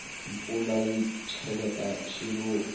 mpfula yi cheleta swiluva